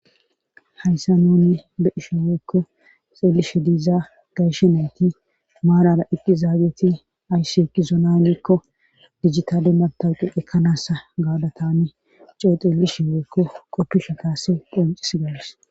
hayssa nuni be ishe weekko xeellishe diiza gayshenayti maarara iqqi zaageti ayssi eki zonanikko dijjitade matawuqe ekkanassa gaada tani coexeelishe wookke qoppisha kaase phonxis gaadis